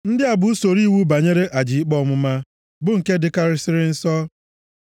“ ‘Ndị a bụ usoro iwu banyere aja ikpe ọmụma, bụ nke dịkarịsịrị nsọ.